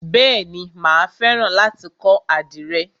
Bèéni, mà á fẹ́ràn láti kọ́ àdìrẹ.